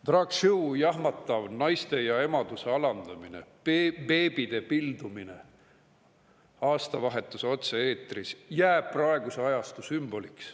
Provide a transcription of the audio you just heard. Drag show' jahmatav naiste ja emaduse alandamine, beebide pildumine aastavahetuse otse-eetris jääb praeguse ajastu sümboliks.